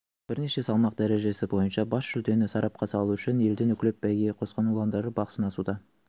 бірнеше салмақ дәрежесі бойынша бас жүлдені сарапқа салу үшін елдің үкілеп бәйгеге қосқан ұландары бақ сынасуда